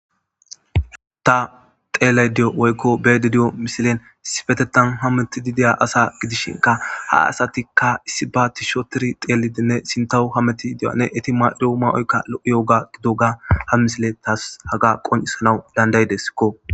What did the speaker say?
Heuta xeelay diyo woykko beedi di7o misilen sifetetan hammeti dideya asa gidishinka ha asatikka issi baati shotiri xeelidinne sintahu hameti idiyanne eti ma7ido ma7oyka lo7iyoga gidoga ha misile taas haga qoncisana dandaydeskko.